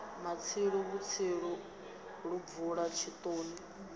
matsilu vhutsilu lu bvula tshitoni